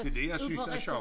Det det jeg synes der er sjovt